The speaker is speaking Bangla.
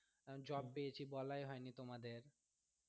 কারণ job পেয়েছি বলায় হয়নি তোমাদের।